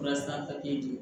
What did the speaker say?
di